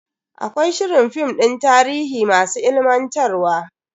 Akwai shirin film din tarihi masu ilimantarwa.